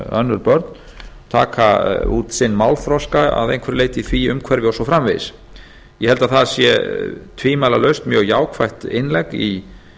önnur börn taka út sinn málþroska að einhverju leyti í því umhverfi og svo framvegis ég held að það sé tvímælalaust mjög jákvætt innlegg í